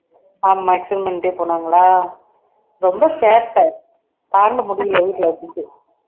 ஆமா extend பண்ணிட்டே போனாங்களா ரொம்ப சேட்டை தாங்க முடியலை வீட்டுல வச்சிட்டு